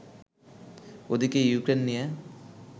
ওদিকে ইউক্রেন নিয়ে